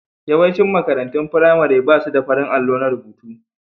Yawaicin makarantun firamare ba su da farin allo na rubutu.